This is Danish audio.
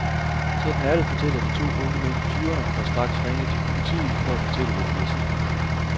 Sådan er det, fortæller de to unge mænd i tyverne, der straks ringede til politiet for at fortælle, hvad de vidste.